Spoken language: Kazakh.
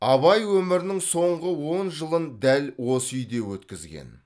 абай өмірінің соңғы он жылын дәл осы үйде өткізген